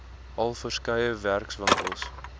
al verskeie werkswinkels